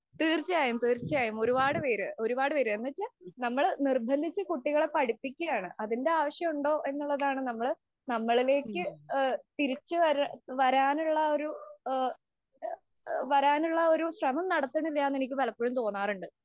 തീര്‍ച്ചയായും, തീര്‍ച്ചയായും. ഒരുപാട് പേര് ഒരുപാട് പേര് എന്ന് വച്ചാ നമ്മള് നിര്‍ബന്ധിച്ചു കുട്ടികളെ പഠിപ്പിക്കുകയാണ്. അതിന്‍റെ ആവശ്യം ഉണ്ടോ എന്നുള്ളതാണ്. നമ്മള് നമ്മളിലേക്ക് തിരിച്ചു വരാ വരാനുള്ള ഒരു വരാനുള്ള ശ്രമം നടത്തുന്നില്ലാ എന്ന് എനിക്ക് പലപ്പോഴും തോന്നാറുണ്ട്.